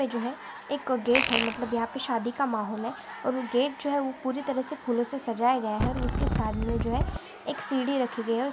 जो है एक गेट है मतलब यहांपे शादी का माहौल है और गेट जो है वह पूरी तरह से फूलों से सजाया गया है उसके साथ में जो है एक सीढ़ी रखी गए है। और --